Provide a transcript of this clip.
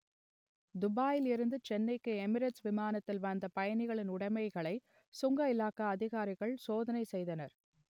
துபாயில் இருந்து சென்னைக்கு எமிரேட்ஸ் விமானத்தில் வந்த பயணிகளின் உடமைகளை சுங்க இலாகா அதிகாரிகள் சோதனை செய்தனர்